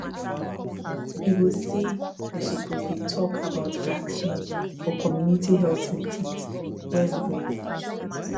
e go say dey suppose dey talk about vaccine for community health meetings well well